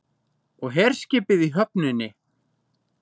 Og herskipið í höfninni.